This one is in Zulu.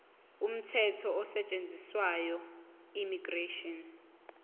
umthetho osetshenziswayo immigration